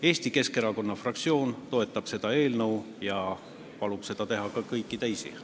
Eesti Keskerakonna fraktsioon toetab seda eelnõu ja palub seda teha ka kõigil teistel.